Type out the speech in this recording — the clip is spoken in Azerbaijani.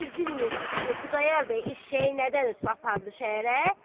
Siz bilmirsiz ki, Xudayar bəy eşşəyi nədən ötrü apardı şəhərə?